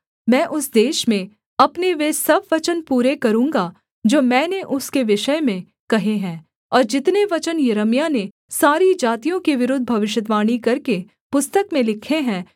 मैं उस देश में अपने वे सब वचन पूरे करूँगा जो मैंने उसके विषय में कहे हैं और जितने वचन यिर्मयाह ने सारी जातियों के विरुद्ध भविष्यद्वाणी करके पुस्तक में लिखे हैं